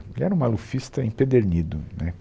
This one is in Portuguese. Ele era um malufista empedernido, né?